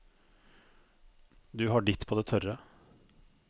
Du har ditt på det tørre.